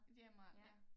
Det er meget ja